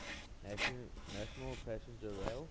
national passenger rail